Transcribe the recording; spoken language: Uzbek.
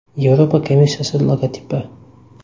Yevropa komissiyasi logotipi.